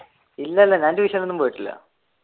ഇല്ല ഇല്ല ഞാൻ ട്യൂഷൻ ഒന്നും പോയിട്ടില്ല.